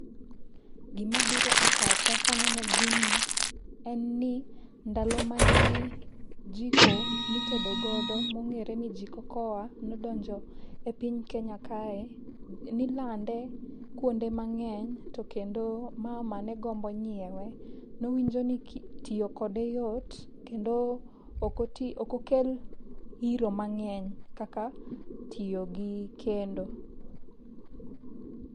Gimabiro e pacha kaneno gini en ni ndalo mane jiko mitede godo mong'ere ni jiko koa nodonjo e piny Kenya kae, nilande kwonde mang'eny to kendo mama negombo nyiewe. Nowinjo ni tiyo kode yot kendo ok okel iro mang'eny kaka tiyo gi kendo.